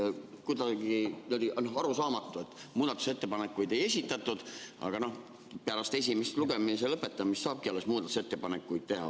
See on kuidagi nagu arusaamatu, et muudatusettepanekuid ei esitatud, aga pärast esimese lugemise lõpetamist saabki ju alles muudatusettepanekuid teha.